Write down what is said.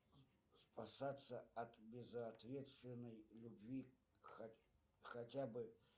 спасаться от безответственной любви хотя бы